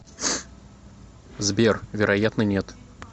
сбер вероятно нет